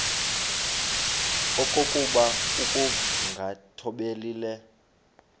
okokuba ukungathobeli le